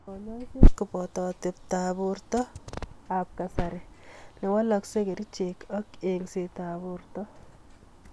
Kanyaiset koboto atebto af burto ab kasari newaleksei, kerchek ak enyset ab borto.